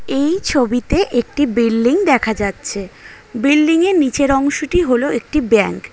এই ছবিতে একটি বিল্ডিং দেখা যাচ্ছে বিল্ডিং এর নিচের অংশটি হলো একটি ব্যাঙ্ক ।